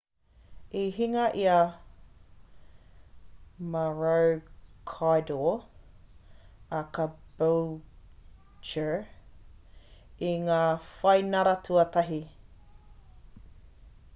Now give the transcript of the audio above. i hinga i a maroochydore a caboolture i ngā whainara tuatahi